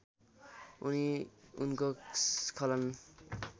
उनी उनको स्खलन